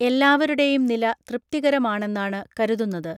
എല്ലാവരുടെയും നില തൃപ്തികരമാണെന്നാണ് കരുതുന്നത്.